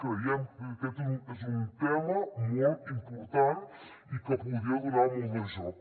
creiem que aquest és un tema molt important i que podria donar molt de joc